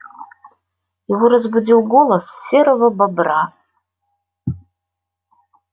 его разбудил голос серого бобра